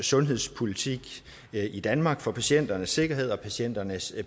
sundhedspolitikken i danmark for patienternes sikkerhed og patienternes